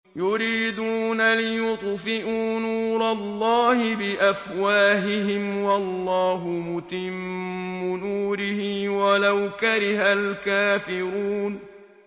يُرِيدُونَ لِيُطْفِئُوا نُورَ اللَّهِ بِأَفْوَاهِهِمْ وَاللَّهُ مُتِمُّ نُورِهِ وَلَوْ كَرِهَ الْكَافِرُونَ